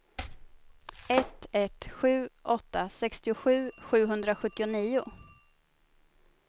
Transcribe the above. ett ett sju åtta sextiosju sjuhundrasjuttionio